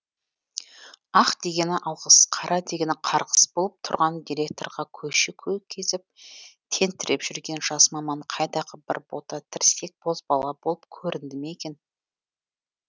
ақ дегені алғыс қара дегені қарғыс болып тұрған директорға көше кезіп тентіреп жүрген жас маман қайдағы бір бота тірсек бозбала болып көрінді ме екен